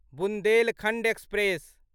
Bundelkhand express